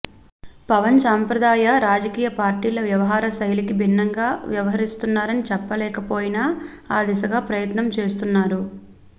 పవన్ సాంప్రదాయ రాజకీయ పార్టీల వ్యవహారశైలికి భిన్నంగా వ్యవహరిస్తున్నారని చెప్పలేకపోయినా ఆ దిశగా ప్రయత్నం చేస్తున్నారు